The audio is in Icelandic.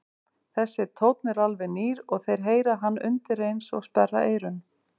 Þessi tónn er alveg nýr og þeir heyra hann undireins og sperra eyrun.